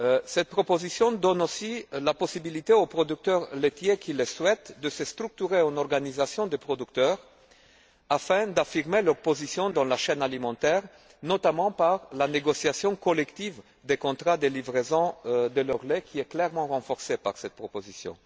Cette proposition donne aussi la possibilité aux producteurs laitiers qui le souhaitent de se structurer en organisation de producteurs afin d'affirmer leur position dans la chaîne alimentaire, notamment par la négociation collective des contrats de livraison de leur lait qui est clairement renforcée par cette proposition.